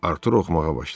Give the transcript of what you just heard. Artur oxumağa başladı.